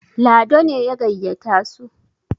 Lado ne ya gayyata su